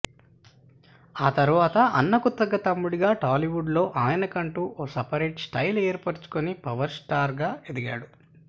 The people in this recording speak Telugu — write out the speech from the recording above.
ఆ తర్వాత అన్నకు తగ్గ తమ్ముడిగా టాలీవుడ్లో ఆయనకంటూ ఒక సెపరేట్ స్టైల్ ఏర్పరుచుకొని పవర్ స్టార్గా ఎదిగాడు